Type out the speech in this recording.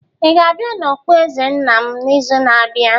Ị ga-abịa na okpueze nna m n'izu na-abịa?